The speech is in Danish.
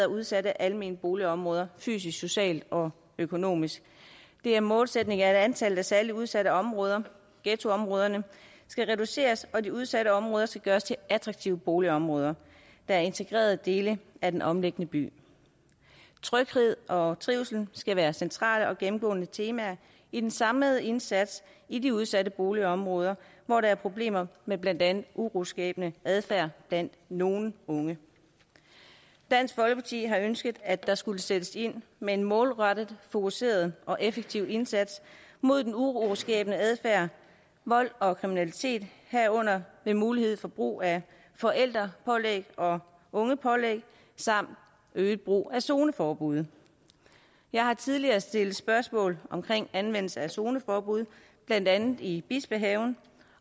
udsatte almene boligområder fysisk socialt og økonomisk det er målsætningen at antallet af særlig udsatte områder ghettoområderne skal reduceres og de udsatte områder skal gøres til attraktive boligområder der er integrerede dele af den omliggende by tryghed og trivsel skal være centrale og gennemgående temaer i den samlede indsats i de udsatte boligområder hvor der er problemer med blandt andet uroskabende adfærd blandt nogle unge dansk folkeparti har ønsket at der skulle sættes ind med en målrettet fokuseret og effektiv indsats mod den uroskabende adfærd og vold og kriminalitet herunder med mulighed for brug af forældrepålæg og ungepålæg samt øget brug af zoneforbud jeg har tidligere stillet spørgsmål om anvendelsen af zoneforbud blandt andet i bispehaven